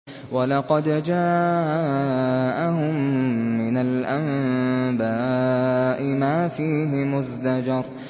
وَلَقَدْ جَاءَهُم مِّنَ الْأَنبَاءِ مَا فِيهِ مُزْدَجَرٌ